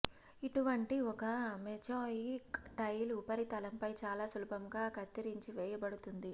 ఇటువంటి ఒక mosaic tile ఉపరితలంపై చాలా సులభంగా కత్తిరించి వేయబడుతుంది